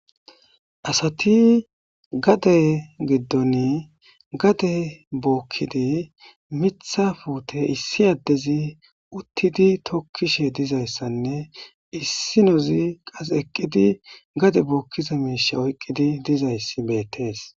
Asati gade gidoni hade bokidi Mitha pute issi adezi uttidi tokishe dizaysane issinozi qase eqidi gade bokiza mishe oykidi dizaysi beetes